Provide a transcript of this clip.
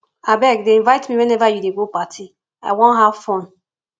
abeg dey invite me whenever you dey go party i wan have fun